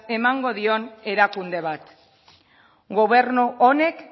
emango dion erakunde bat gobernu honek